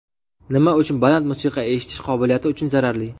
Nima uchun baland musiqa eshitish qobiliyati uchun zararli?.